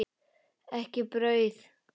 Ekki brauð.